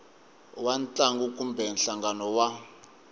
wa ntlangu kumbe nhlangano wa